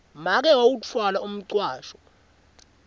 make wawutfwala umcwasho